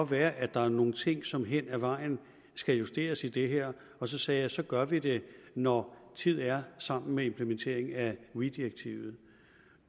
være at der er nogle ting som hen ad vejen skal justeres i det her og så sagde jeg at så gør vi det når tid er sammen med implementeringen af weee direktivet